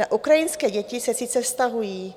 Na ukrajinské děti se sice vztahují,